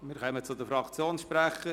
Wir kommen zu den Fraktionssprechern.